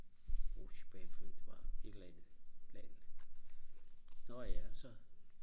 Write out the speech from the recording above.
rutjebanefører det var et eller andet plat nårh ja så